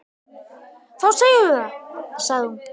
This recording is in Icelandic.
Þá segjum við það, sagði hún.